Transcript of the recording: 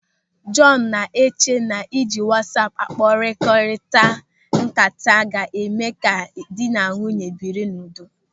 Jọọnu na-eche na ịji wasaapu akpakọrilịta ńkata ga-eme ka dị na nwunye biri n'udo.